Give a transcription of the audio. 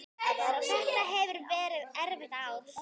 Þetta hefur verið erfitt ár.